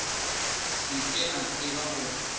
se ke a tseba gore